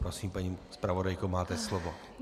Prosím, paní zpravodajko, máte slovo.